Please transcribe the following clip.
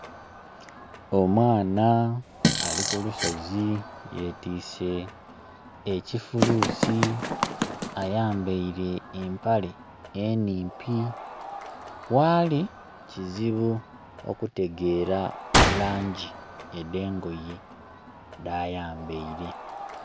Omwana ali ku lusozi yetise ekifuluusi ayambeire empale enhimpi. Waali kizibu okutegera langi edh'engoye dha yambeire.